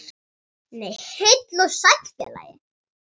Nei, heill og sæll félagi!